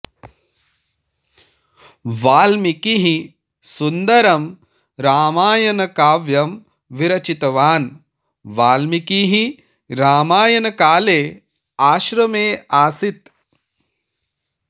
वाल्मीकिः सुन्दरं रामायणकाव्यं विरचितवान् वाल्मीकिः रामायणकाले आश्रमे आसीत्